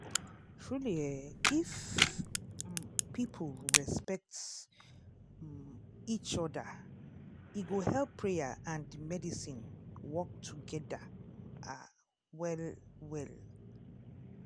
truely eeh if um people respect um each oda e go help prayer and medicine work togeda ah well well.